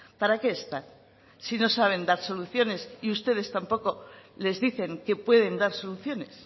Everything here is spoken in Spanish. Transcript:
para qué están si no saben dar soluciones y ustedes tampoco les dicen que pueden dar soluciones